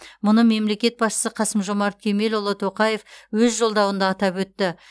мұны мемлекет басшысы қасым жомарт кемелұлы тоқаев өз жолдауында атап өтті